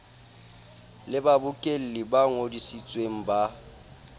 le babokelli ba ngodisitsweng ba